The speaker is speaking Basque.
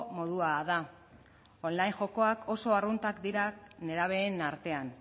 modua da online jokoak oso arruntak dira nerabeen artean